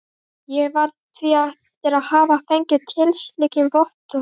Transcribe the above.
Ég varð við því eftir að hafa fengið tilskilin vottorð.